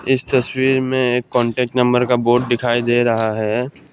इस तस्वीर में एक कांटेक्ट नंबर का बोर्ड दिखाई दे रहा है।